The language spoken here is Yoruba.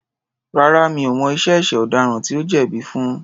Rárá, mi ò mọ iye ẹ̀ṣẹ̀ ọ̀daràn tí ó jẹ̀bi fun.